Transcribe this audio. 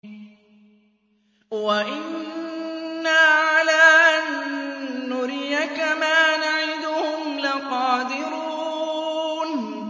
وَإِنَّا عَلَىٰ أَن نُّرِيَكَ مَا نَعِدُهُمْ لَقَادِرُونَ